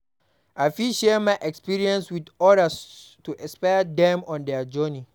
I fit share my experiences with others to inspire dem on their journey.